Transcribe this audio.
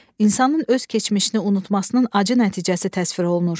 İnsanın öz keçmişini unutmasının acı nəticəsi təsvir olunur.